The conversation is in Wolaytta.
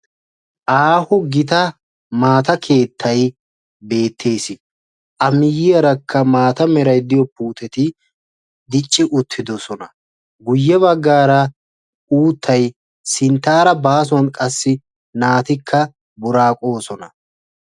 Aaho gita maata keettay beettees. A miyyiyarakka maata meray diyo puuteti dicci uttidosona. Guyye baggaara uuttay sinttaara baasuwan qassi naatikka buraaqoosona.